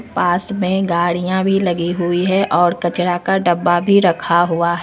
पास में गाड़ियां भी लगी हुई है और कचरा का डब्बा भी रखा हुआ है।